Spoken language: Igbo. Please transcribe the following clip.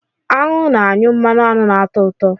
Aṅụ na-anyụ mmanụ aṅụ ná-atọ ụtọ.